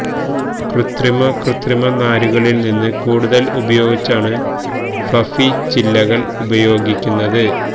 കൃത്രിമ കൃത്രിമ നാരുകളിൽ നിന്ന് കൂടുതൽ ഉപയോഗിച്ചാണ് ഫ്ലഫി ചില്ലകൾ ഉപയോഗിക്കുന്നത്